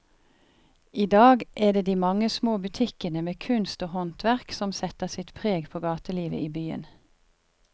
I dag er det de mange små butikkene med kunst og håndverk som setter sitt preg på gatelivet i byen.